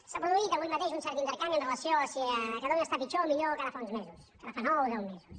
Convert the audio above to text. s’ha produït avui mateix un cert intercanvi amb relació a si catalunya està pitjor o millor que ara fa uns mesos que ara fa nou deu mesos